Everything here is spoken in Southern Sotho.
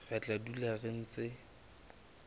re tla dula re ntse